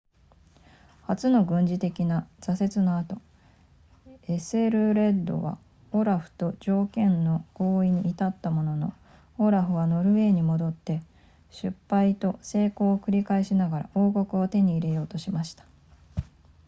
初の軍事的な挫折の後エセルレッドはオラフと条件の合意に至ったののオラフはノルウェーに戻って失敗と成功を繰り返しながら王国を手に入れようとしました